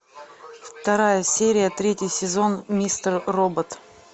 вторая серия третий сезон мистер робот